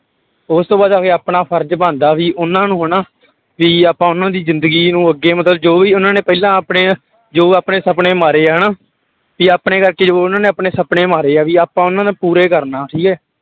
ਉਸ ਤੋਂ ਬਾਅਦ ਅੱਗੇ ਆਪਣਾ ਫ਼ਰਜ਼ ਬਣਦਾ ਵੀ ਉਹਨਾਂ ਨੂੰ ਹਨਾ ਵੀ ਆਪਾਂ ਉਹਨਾਂ ਦੀ ਜ਼ਿੰਦਗੀ ਨੂੰ ਅੱਗੇ ਮਤਲਬ ਜੋ ਵੀ ਉਹਨਾਂ ਨੇ ਪਹਿਲਾਂ ਆਪਣੇ ਜੋ ਆਪਣੇ ਸੁਪਨੇ ਮਾਰੇ ਆ ਹਨਾ, ਵੀ ਆਪਣੇ ਕਰਕੇ ਜੋ ਉਹਨਾਂ ਨੇ ਆਪਣੇ ਸੁਪਨੇ ਮਾਰੇ ਆ ਵੀ ਆਪਾਂ ਉਹਨਾਂ ਨੂੰ ਪੂਰੇ ਕਰਨਾ ਠੀਕ ਹੈ।